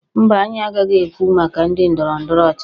Mba, anyị agaghị ekwu maka ndị ndọrọ ndọrọ ọchịchị